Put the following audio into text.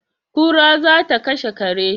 kura za ta kashe kare